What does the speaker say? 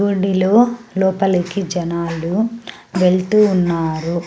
గుడి లో లోపలికి జనాలు వెల్తు ఉన్నారు.